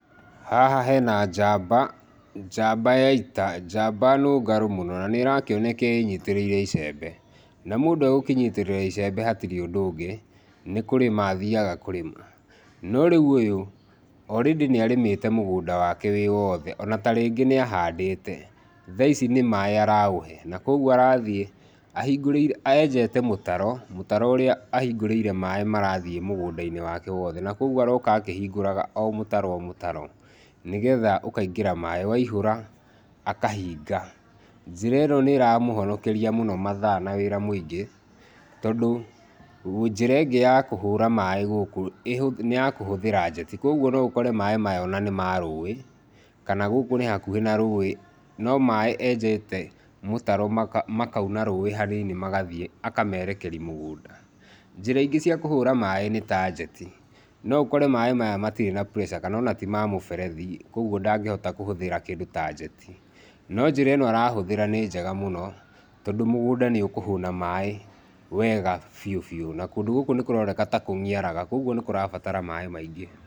Haha hena njamba, njamba ya ita, njamba nũngarũ mũno, na nĩrakĩoneka ĩnyitĩrĩire icembe, na mũndũ e gũkĩnyitĩrĩra icembe hatirĩ ũndũ ũngĩ, nĩ kũrĩma athiaga kũrĩma, no rĩu ũyũ, o rĩndĩ nĩarĩmĩte mũgũnda wake wĩ wothe, ona tarĩngĩ nĩahandĩte, thaici nĩ maĩ araũhe, na koguo arathiĩ, enjete mũtaro, mũtaro ũrĩa ahingũrĩire maĩ marathiĩ mũgũnda-inĩ wake wothe, na kwoguo aroka akĩhingũraga o mũtaro o mũtaro, nĩgetha ũkaingĩra maĩ, waihũra, akahinga, njĩra ĩno nĩramũhonokeria mũno mathaa na wĩra mũingĩ, tondũ, njĩra ĩngĩ ya kũhũra maĩ gũkũ ĩhũ, nĩ ya kũhũthĩra njeti, koguo noũkore maĩ maya ona nĩ ma rũĩ, kana gũkũ nĩ hakuhĩ na rũĩ, no maĩ enjete mũtaro makauna rũĩ hanini magathiĩ, akamerekeri mũgũnda, njĩra ingĩ cia kũhũra maĩ nĩta njeti, noũkore maĩ maya matirĩ na pressure kanona ti ma mũberethi, koguo ndangĩhota kũhũthĩra kĩndũ ta njeti, no njĩra ĩno arahũthĩra nĩ njega mũno, tondũ mũgũnda nĩũkũhũna maĩ wega biũ biũ, na kũndũ gũkũ nĩkũroneka ta kũniaraga, ũguo nĩkũrabatara maĩ maingĩ.